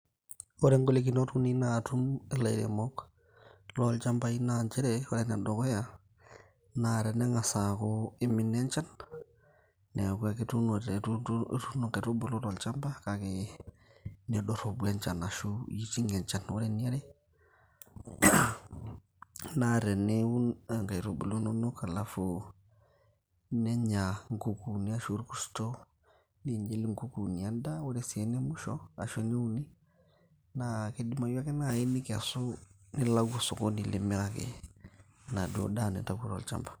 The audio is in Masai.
ore golikinot uni naatum ilairemok loo ilchambai naa tene ng'as aaku imina enchan, neeku ituno kaitubulu tolchamba nedoropu enchan ,ore eniare naa teniun ingaitubulu inonok nenya ikukunik ashu orkuto, ore ene uni naa kidimayu naaji ake nintau nilau sokoni nipik.